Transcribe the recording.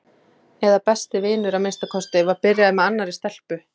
eða besti vinur að minnsta kosti var byrjaður með annarri stelpu.